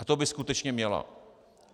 A to by skutečně měla.